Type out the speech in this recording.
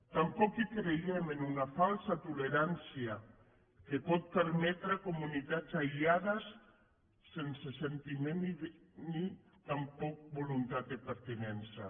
tampoc creiem en una falsa tolerància que pot permetre comunitats aïllades sense sentiment ni tampoc voluntat de pertinença